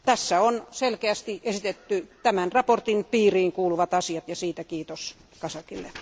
Tässä on selkeästi esitetty tämän mietinnön piiriin kuuluvat asiat ja siitä kiitos Kazakille.